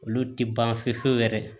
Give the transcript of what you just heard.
Olu tɛ ban fiyewu fiyewu yɛrɛ